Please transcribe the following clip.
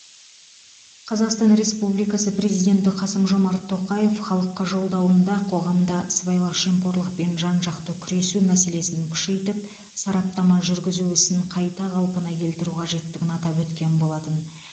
қазақстан республикасы президенті қасым жомарт тоқаев халыққа жолдауында қоғамда сыбайлас жемқорлықпен жан жақты күресу мәселесін күшейтіп сараптама жүргізу ісін қайта қалпына келтіру қажеттігін атап өткен болатын